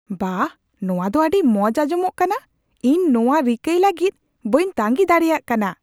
ᱵᱟᱦ, ᱱᱚᱶᱟ ᱫᱚ ᱟᱹᱰᱤ ᱢᱚᱡ ᱟᱸᱡᱚᱢᱚᱜ ᱠᱟᱱᱟ ! ᱤᱧ ᱱᱚᱶᱟ ᱨᱤᱠᱟᱹᱭ ᱞᱟᱹᱜᱤᱫ ᱵᱟᱹᱧ ᱛᱟᱸᱜᱤ ᱫᱟᱲᱮᱭᱟᱜ ᱠᱟᱱᱟ ᱾